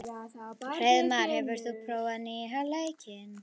Hreiðmar, hefur þú prófað nýja leikinn?